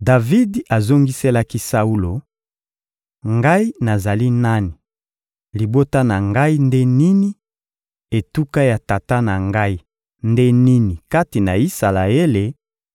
Davidi azongiselaki Saulo: — Ngai nazali nani, libota na ngai nde nini, etuka ya tata na ngai nde nini kati na Isalaele